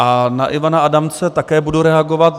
A na Ivana Adamce také budu reagovat.